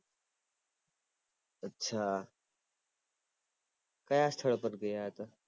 અચ્છા કયા સ્થળ પર ગયા હતા